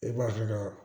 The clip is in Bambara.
E b'a dɔn